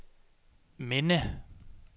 minde